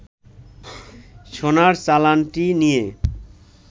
সোনার চালানটি নিয়ে